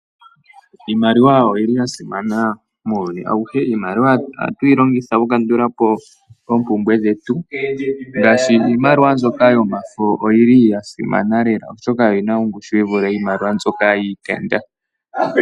Iimaliwa oyili yasimana muuyuni awuhe. Iimaliwa oha twii longitha oku kandulapo oompumbwe dhetu, ngaashi iimaliwa nzoka yomafo oyili yasimana lela oshoka oyina ongushu yivule iimaliwa nzoka yiitenda.